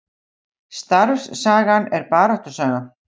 Starfssagan er baráttusaga